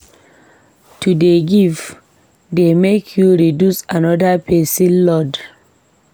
To dey give dey make you reduce anoda pesin load.